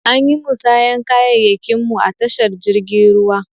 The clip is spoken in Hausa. Anyi musayan kayayyakin mu a tashar jirgin ruwa.